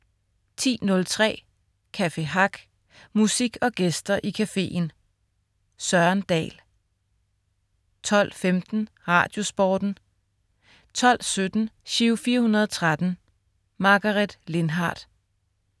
10.03 Café Hack. Musik og gæster i cafeen. Søren Dahl 12.15 Radiosporten 12.17 Giro 413. Margaret Lindhardt